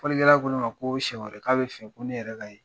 Folikɛla ko ne ma ko siɲɛ wɛrɛ k' a bɛ fɛ ko ne yɛrɛ ka ye.